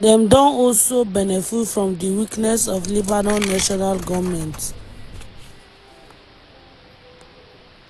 dem don also benefit from di weakness of lebanon national goment.